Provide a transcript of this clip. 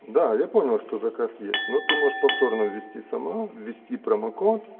да я понял что заказ есть но ты можешь повторно ввести сама ввести промокод